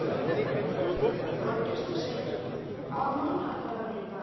Þorgestur, hvaða mánaðardagur er í dag?